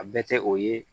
A bɛɛ tɛ o ye